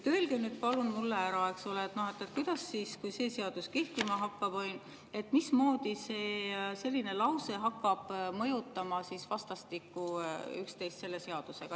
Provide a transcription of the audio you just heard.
Öelge palun mulle, kuidas siis, kui see seadus kehtima hakkab, selline lause hakkab mõjutama seda seadust.